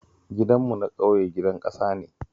Gidanmu na ƙauye gidan ƙasa ne